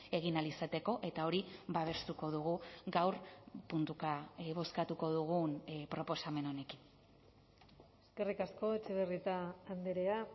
egin ahal izateko eta hori babestuko dugu gaur puntuka bozkatuko dugun proposamen honekin eskerrik asko etxebarrieta andrea